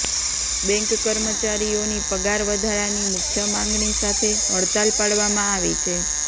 bank કર્મચારીઓની પગાર વધારાની મુખ્ય માંગણી સાથે હડતાલ પાડવામાં આવી છે